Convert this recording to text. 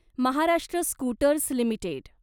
Maharashtra scooters limited